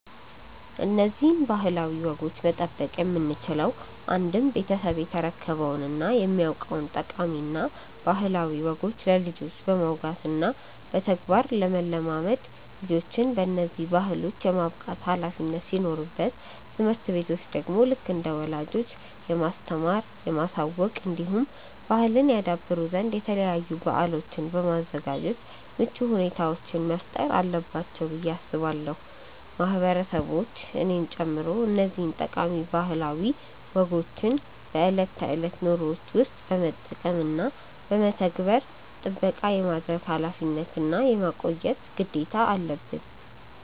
እነዚህን ባህላዊ ወጎች መጠበቅ የምንችለው አንድም ቤተሰብ የተረከበውን እና የሚያውቀውን ጠቃሚ እና ባህላዊ ወጎች ለልጆች በማውጋት እና በተግባር ለማለማመድ ልጆችን በነዚህ ባህሎች የማብቃት ኃላፊነት ሲኖርበት ትምህርት ቤቶች ደግሞ ልክ እንደ ወላጆች የማስተማር፣ የማሳወቅ እንዲሁም ባህልን ያደብሩ ዘንድ የተለያዩ በአሎችን በማዘጋጃት ምቹ ሁኔታዎችን መፍጠር አለባቸው ብዬ አስባለው። ማህበረሰቦች እኔን ጨምሮ እነዚህን ጠቃሚ ባህላዊ ወጎችን በእለት ተእለት ኑሮዎችን ውስጥ በመጠቀም እና በመተግበር ጥበቃ የማድረግ ኃላፊነት እና የማቆየት ግዴታ አለበን።